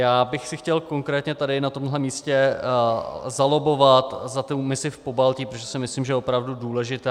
Já bych si chtěl konkrétně tady na tomhle místě zalobbovat za tu misi v Pobaltí, protože si myslím, že je opravdu důležitá.